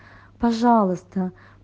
пожалуйста